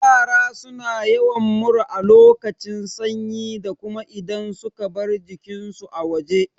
Yara suna yawan mura a lokacin sanyi da kuma idan suka bar jikin su a waje